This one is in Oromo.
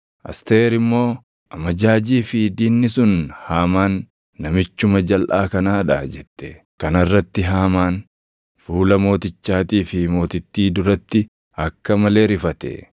Asteer immoo, “Amajaajii fi diinni sun Haamaan namichuma jalʼaa kanaa dha” jette. Kana irratti Hamaan fuula mootichaatii fi mootittii duratti akka malee rifate.